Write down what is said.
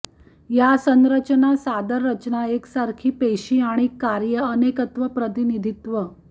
या संरचना सादर रचना एकसारखी पेशी आणि कार्ये अनेकत्व प्रतिनिधित्व